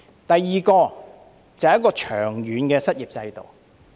第二個是處理長遠失業的制度。